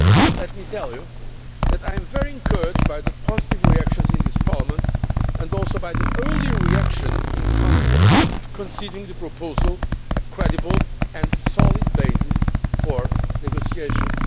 Let me tell you that I am very encouraged by the positive reactions of this Parliament, and also by the early reaction in Council considering the proposal a credible and solid basis for negotiations.